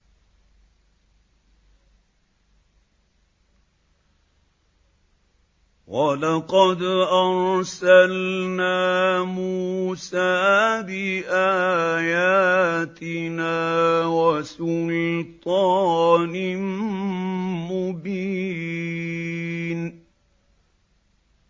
وَلَقَدْ أَرْسَلْنَا مُوسَىٰ بِآيَاتِنَا وَسُلْطَانٍ مُّبِينٍ